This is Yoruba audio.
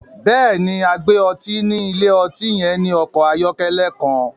Bẹ́ẹ̀ni, agbè ọ̀tí ni ilẹ̀-ọ̀tí yẹn ni ọkọ ayọ̀kẹlẹ̀ kan